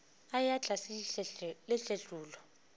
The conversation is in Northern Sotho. a eya tlase le tletlolo